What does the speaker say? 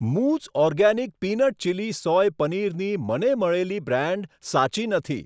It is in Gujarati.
મૂઝ ઓર્ગેનિક પીનટ ચીલી સોય પનીરની મને મળેલી બ્રાન્ડ સાચી નથી.